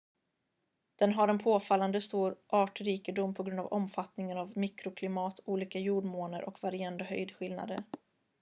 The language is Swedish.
den har en påfallande stor artrikedom på grund av omfattningen av mikroklimat olika jordmåner och varierande höjdskillnader